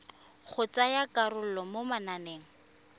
go tsaya karolo mo mananeng